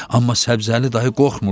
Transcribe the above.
Amma Səbzəli dayı qorxmurdu.